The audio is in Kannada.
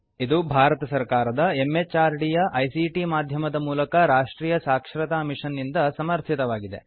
ಇದು ಭಾರತ ಸರ್ಕಾರದ ಎಂಎಚಆರ್ಡಿ ಯ ಐಸಿಟಿ ಮಾಧ್ಯಮದ ಮೂಲಕ ರಾಷ್ಟ್ರೀಯ ಸಾಕ್ಷರತಾ ಮಿಷನ್ ನಿಂದ ಸಮರ್ಥಿತವಾಗಿದೆ